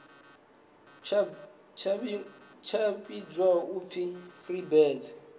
tsha vhidzwa u pfi freebirds